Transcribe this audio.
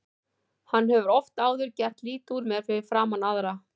Hann hefur oft áður gert lítið úr mér fyrir framan aðra.